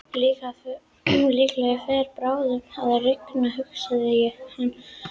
Líklega fer bráðum að rigna hugsaði hann fúll.